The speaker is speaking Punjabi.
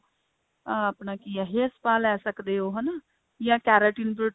ਅਹ ਆਪਣਾ ਕਿ ਹੈ hair spa ਲੈ ਸਕਦੇ ਹੋ ਹਨਾ ਜਾਂ keratin protein